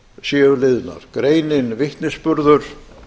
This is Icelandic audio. séu liðnar greinin vitnisburður